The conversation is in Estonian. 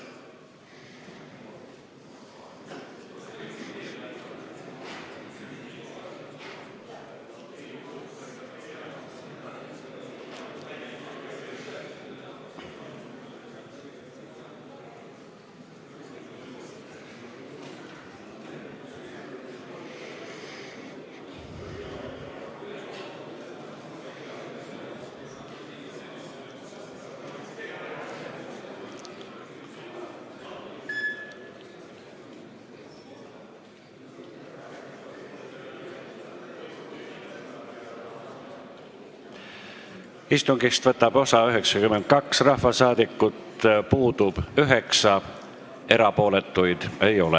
Kohaloleku kontroll Istungist võtab osa 92 ja puudub 9 rahvasaadikut.